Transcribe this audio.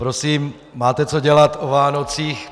Prosím, máte co dělat o Vánocích.